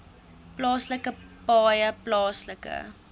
plaaslike paaie plaaslike